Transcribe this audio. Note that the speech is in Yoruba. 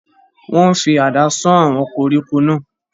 wọ́n fi àdá sán àwọn koríko náà